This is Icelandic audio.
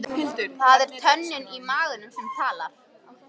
Það er tönnin í maganum sem talar.